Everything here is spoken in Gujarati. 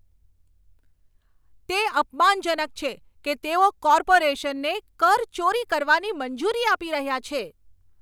તે અપમાનજનક છે કે તેઓ કોર્પોરેશનને કરચોરી કરવાની મંજૂરી આપી રહ્યા છે.